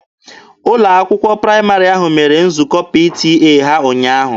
Ụlọ akwụkwọ praịmarị ahụ mere nzukọ PTA ha ụnyaahụ.